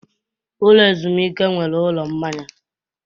Ụlọ ezumike enweela ụlọ mmanya.